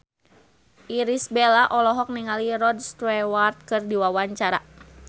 Irish Bella olohok ningali Rod Stewart keur diwawancara